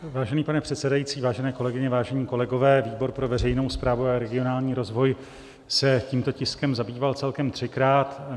Vážený pane předsedající, vážené kolegyně, vážení kolegové, výbor pro veřejnou správu a regionální rozvoj se tímto tiskem zabýval celkem třikrát.